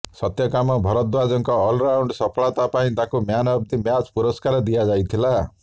ସତ୍ୟକାମ ଭରଦ୍ୱାଜଙ୍କ ଅଲରାଉଣ୍ଡ ସଫଳତା ପାଇଁ ତାଙ୍କୁ ମ୍ୟାନ ଅଫ୍ ଦି ମ୍ୟାଚ ପୁରସ୍କାର ଦିଆ ଯାଇଥିଲା